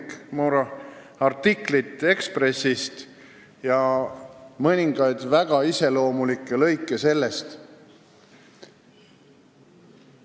See on Erik Moora artikkel Eesti Ekspressist, loen teile ette mõningad väga iseloomulikud lõigud sellest.